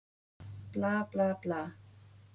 Bla, bla, bla.